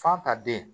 Fa ta den